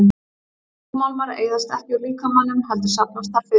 Þungmálmar eyðast ekki úr líkamanum heldur safnast þar fyrir.